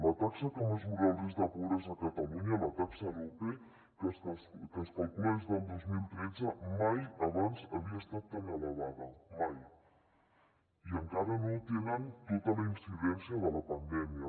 la taxa que mesura el risc de pobresa a catalunya la taxa aro·pe que es calcula des del dos mil tretze mai abans havia estat tan elevada mai i encara no té tota la incidència de la pandèmia